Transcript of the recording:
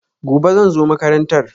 Gobe, zan zo makarantar.